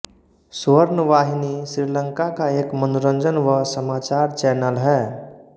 स्वर्णवाहिनी श्रीलंका का एक मनोरंजन व समाचार चैनल है